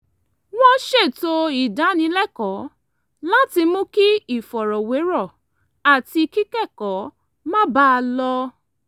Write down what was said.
wọ́n ṣètò ìdánilẹ́kọ̀ọ́ láti mú kí ìfọ̀rọ̀wérọ̀ àti kíkẹ́kọ̀ọ́ máa bá a lọ